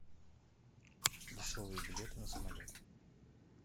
дешевые билеты на самолет